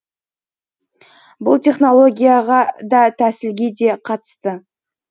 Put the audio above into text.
бұл технологияға да тәсілге де қатысты